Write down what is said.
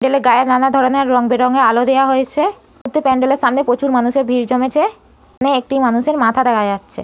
প্যান্ডেল গায়ে নানা ধরনের রং বেরং এর আলো দেওয়া হয়েছে। প্রত্যেক প্যান্ডেল এর সামনে প্রচুর মানুষের ভিড় জমেছে। এখানে একটি মানুষের মাথা দেখা যাচ্ছে।